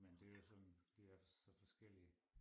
Men det jo sådan vi er så forskellige